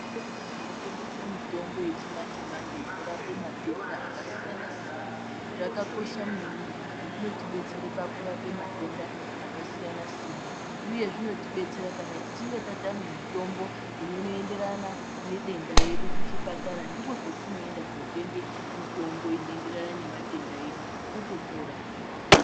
Zvitoro zvinotengese mitombo yechi manje manje inorape matenda akasiyana siyana, zvakakosha maningi ngekuti zvinotibetsere pakurape matenda akasiyana siyana uye zvinotibetsera kana tichinge tatame mitombo inoyenderana ne dendaredu kuchipatara ndikwo kwetinoenda kotenge mitombo inoenderane nema tenda edu totopora.